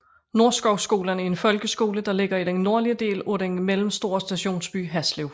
Nordskovskolen er en folkeskole der ligger i den nordlige del af den mellemstore stationsby Haslev